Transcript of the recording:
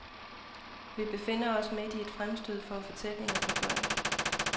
Vi befinder os midt i et fremstød for fortællinger for børn.